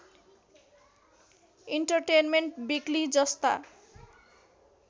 entertainment weekly जस्ता